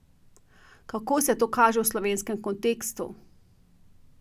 Kako se to kaže v slovenskem kontekstu?